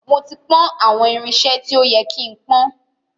Mó ti pọ́n àwọn irinṣe tí ó ye kí ń pọ́n.